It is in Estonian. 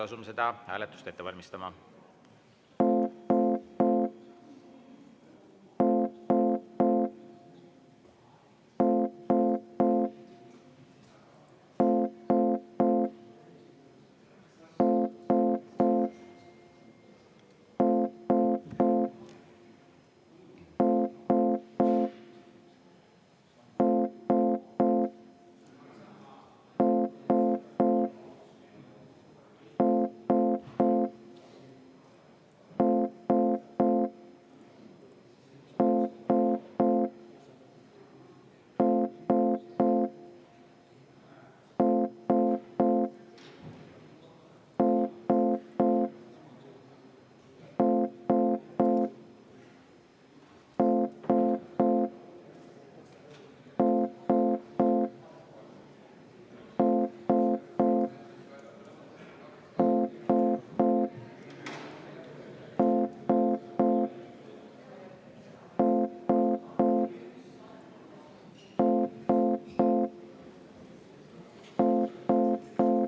Asume seda hääletust ette valmistama.